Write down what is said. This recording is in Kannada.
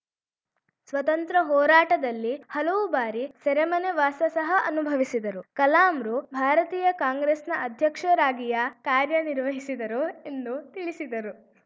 ಸ್ವತಂತ್ರ ಹೋರಾಟದಲ್ಲಿ ಹಲವು ಬಾರಿ ಸೆರೆಮನೆ ವಾಸ ಸಹ ಅನುಭವಿಸಿದರು ಕಲಾಂರು ಭಾರತೀಯ ಕಾಂಗ್ರೆಸ್‌ನ ಅಧ್ಯಕ್ಷರಾಗಿಯಾ ಕಾರ್ಯ ನಿರ್ವಹಿಸಿದರು ಎಂದು ತಿಳಿಸಿದರು